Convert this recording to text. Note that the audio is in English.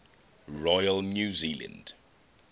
royal new zealand